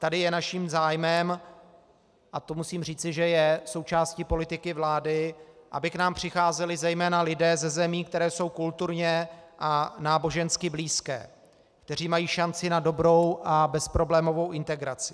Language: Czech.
Tady je naším zájmem, a to musím říci, že je součástí politiky vlády, aby k nám přicházeli zejména lidé ze zemí, které jsou kulturně a nábožensky blízké, kteří mají šanci na dobrou a bezproblémovou integraci.